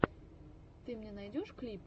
ты мне найдешь клипы